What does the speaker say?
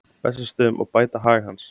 Bessastöðum og bæta hag hans.